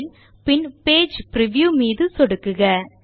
file பின் page preview மீது சொடுக்குக